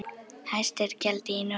Hæst er gjaldið í Noregi.